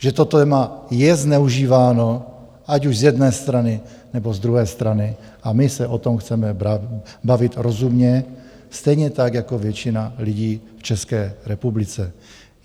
Že to téma je zneužíváno, ať už z jedné strany, nebo z druhé strany, a my se o tom chceme bavit rozumně stejně tak jako většina lidí v České republice.